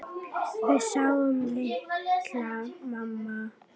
Við sjáum til, mamma.